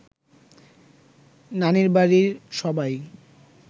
নানির বাড়ির সবাই